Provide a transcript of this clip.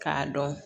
K'a dɔn